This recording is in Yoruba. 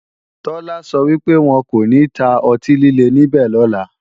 Tọ́lá sọ wípé, wọn kò ní ta ọtí líle níbẹ̀ lọ́la